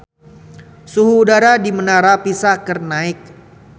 Suhu udara di Menara Pisa keur naek